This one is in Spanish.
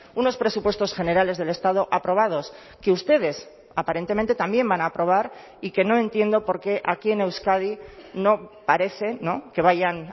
unos presupuestos generales del estado aprobados que ustedes aparentemente también van a aprobar y que no entiendo por qué aquí en euskadi no parece que vayan